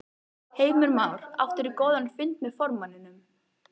Heimir Már: Áttirðu góðan fund með formanninum?